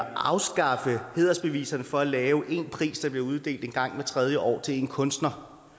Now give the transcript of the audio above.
at afskaffe hædersbeviserne for at lave én pris der bliver uddelt en gang hvert tredje år til en kunstner